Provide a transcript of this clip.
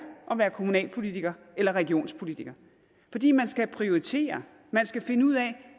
at være kommunalpolitiker eller regionspolitiker fordi man skal prioritere man skal finde ud af